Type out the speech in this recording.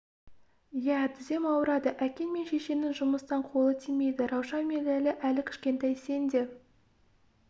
ия тізем ауырады әкең мен шешеңнің жұмыстан қолы тимейді раушан мен ләйлә әлі кішкентай сен де